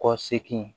Kɔ seegin